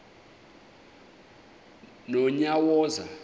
nonyawoza